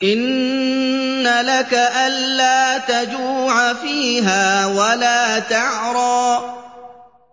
إِنَّ لَكَ أَلَّا تَجُوعَ فِيهَا وَلَا تَعْرَىٰ